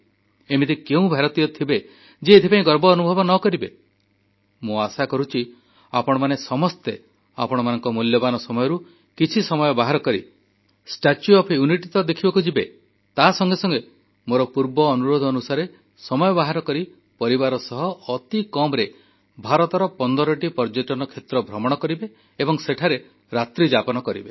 ଏମିତି କେଉଁ ଭାରତୀୟ ଥିବେ ଯିଏ ଏଥିପାଇଁ ଗର୍ବ ଅନୁଭବ ନ କରିବେ ମୁଁ ଆଶା କରୁଛି ଆପଣମାନେ ସମସ୍ତେ ଆପଣମାନଙ୍କ ମୂଲ୍ୟବାନ ସମୟରୁ କିଛି ସମୟ ବାହାର କରି ଷ୍ଟାଚ୍ୟୁ ଅଫ ୟୁନିଟି ଦେଖିବାକୁ ତ ଯିବେ ତାସଙ୍ଗେ ସଙ୍ଗେ ମୋର ପୂର୍ବ ଅନୁରୋଧ ଅନୁସାରେ ସମୟ ବାହାର କରି ପରିବାର ସହ ଅତିକମରେ ଭାରତର 15ଟି ପର୍ଯ୍ୟଟନ କ୍ଷେତ୍ର ଭ୍ରମଣ କରିବେ ଏବଂ ସେଠାରେ ରାତ୍ରିଯାପନ କରିବେ